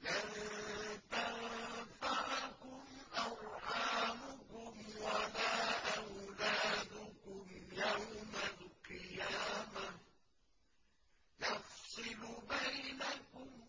لَن تَنفَعَكُمْ أَرْحَامُكُمْ وَلَا أَوْلَادُكُمْ ۚ يَوْمَ الْقِيَامَةِ يَفْصِلُ بَيْنَكُمْ ۚ